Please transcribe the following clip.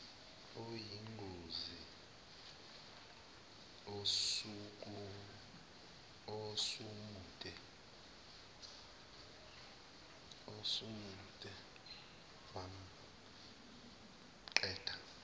oyingozi osumudle wamqeda